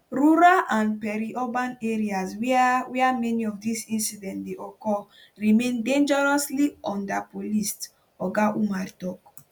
rural and periurban areas wia wia many of dis incidents dey occur remain dangerously underpoliced oga umar tok